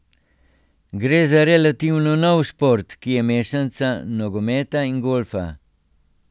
Gre za relativno nov šport, ki je mešanica nogometa in golfa.